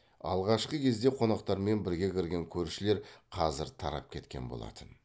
алғашқы кезде қонақтармен бірге кірген көршілер қазір тарап кеткен болатын